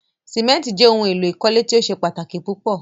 Símẹ̀ntì jẹ ohun èlò ìkọ́lé tí o ṣẹ̀ pátaki púpọ̀.